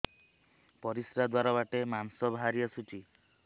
ପରିଶ୍ରା ଦ୍ୱାର ବାଟେ ମାଂସ ବାହାରି ଆସୁଛି